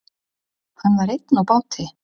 Hann var einn á báti.